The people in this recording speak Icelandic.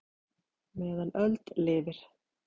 meðan öld lifir